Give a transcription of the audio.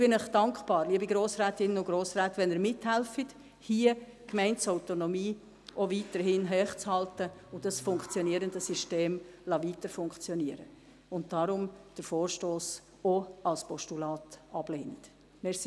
Ich bin Ihnen dankbar, liebe Grossrätinnen und Grossräte, wenn Sie mithelfen, hier die Gemeindeautonomie auch weiterhin hochzuhalten und das funktionierende System weiter funktionieren zu lassen, und wenn Sie den Vorstoss deshalb auch als Postulat ablehnen.